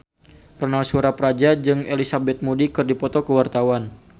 Ronal Surapradja jeung Elizabeth Moody keur dipoto ku wartawan